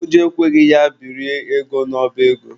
Ụjọ ekweghị ya biri ego n'ọba ego.